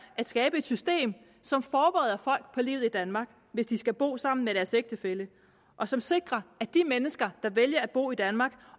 at skabe et system som forbereder folk på livet i danmark hvis de skal bo her sammen med deres ægtefælle og som sikrer at de mennesker som vælger at bo i danmark